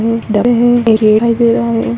ये दिखाई दे रहा है।